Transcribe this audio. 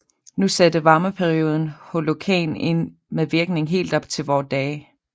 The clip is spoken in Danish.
Nu satte varmeperioden Holocæn ind med virkning helt op til vore dage